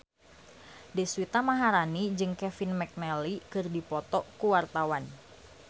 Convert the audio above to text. Deswita Maharani jeung Kevin McNally keur dipoto ku wartawan